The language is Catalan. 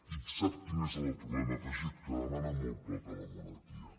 i sap quin és el problema afegit que demanen molt poc a la monarquia